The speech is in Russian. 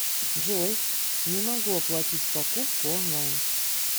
джой не могу оплатить покупку онлайн